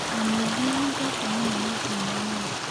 Nyamũ iria nyendete mũno nĩ ngui na nyau.